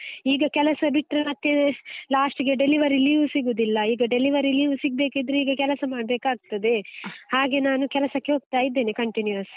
ಈಗ ಕೆಲಸ ಬಿಟ್ರೆ ಮತ್ತೆ last ಗೆ delivery leave ಸಿಗುದಿಲ್ಲ, ಈಗ delivery leave ಸಿಗ್ಬೇಕಿದ್ರೆ ಈಗ ಕೆಲಸ ಮಾಡ್ಬೇಕಾಗ್ತದೆ, ಹಾಗೆ ನಾನು ಕೆಲಸಕ್ಕೆ ಹೋಗ್ತಾ ಇದ್ದೇನೆ continuous .